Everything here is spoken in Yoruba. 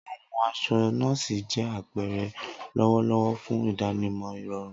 Awọn aṣọ nọ́ọ̀sí jẹ apẹrẹ lọwọlọwọ fun idanimọ irọrun.